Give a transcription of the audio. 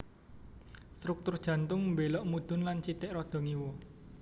Struktur jantung mbélok mudhun lan sithik rada ngiwa